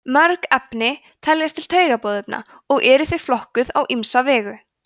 mörg efni teljast til taugaboðefna og eru þau flokkuð á ýmsa vegu